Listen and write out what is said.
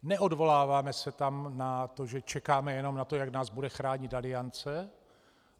Neodvoláváme se tam na to, že čekáme jenom na to, jak nás bude chránit Aliance.